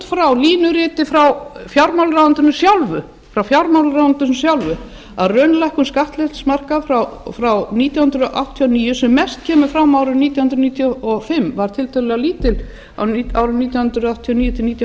frá línuriti frá fjármálaráðuneytinu sjálfu að raunlækkun skattleysismarka frá nítján hundruð áttatíu og níu sem mest kemur fram eftir árið nítján hundruð níutíu og fimm var tiltölulega lítil á árunum nítján hundruð áttatíu og níu til nítján hundruð níutíu